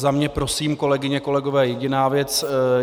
Za mne, prosím, kolegyně, kolegové, jediná věc.